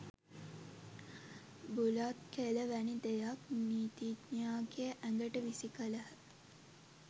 බුලත් කෙළ වැනි දෙයක් නීතිඥයාගේ ඇඟට විසි කළහ.